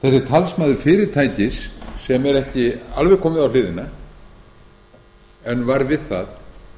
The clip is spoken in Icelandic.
talsmaður fyrirtækis sem er ekki alveg komið á hliðina en var við það